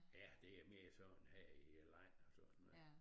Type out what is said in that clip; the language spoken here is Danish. Ja det er mere sådan her i landet og sådan noget